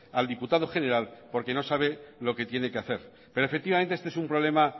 al diputado general porque no sabe lo que tiene que hacer pero efectivamente este es un problema